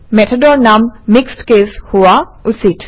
মেথডৰ নাম mixed case হোৱা উচিত